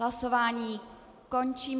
Hlasování končím.